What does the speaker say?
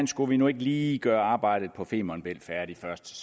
skulle vi nu ikke lige gøre arbejdet på femern bælt færdigt først